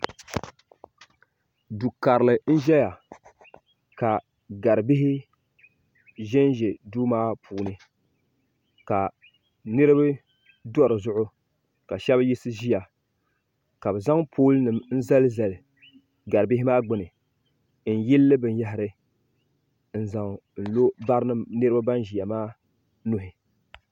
Du'karili n ʒɛya ka gari'bihi ʒɛnʒɛ duu maa puuni ka niriba do dizuɣu ka sheba yiɣisi ʒia ka bɛ zaŋ pooli nima n zali zali garibihi maa gbini n yilili binyahiri n zaŋ n lo barinima niriba nan ʒia maa nuhi.